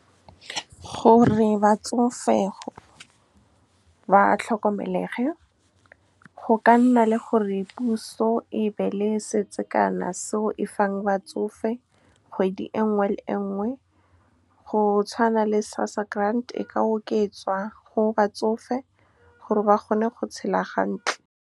Gore batsofe ba tlhokomelege, go ka nna le gore puso e be le seo e fang batsofe kgwedi e nngwe le nngwe, go tshwana le SASSA grant. E ka oketswa go batsofe gore ba kgone go tshela . Gore batsofe ba tlhokomelege, go ka nna le gore puso e be le seo e fang batsofe kgwedi e nngwe le nngwe, go tshwana le SASSA grant. E ka oketswa go batsofe gore ba kgone go tshela .